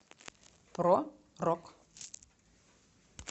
про рок